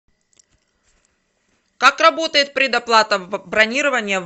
как работает предоплата бронирования